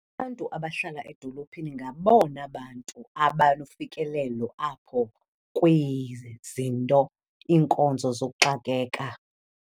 Abantu abahlala edolophini ngabona bantu abanofikelelo apho kwizinto, iinkonzo zokuxakeka.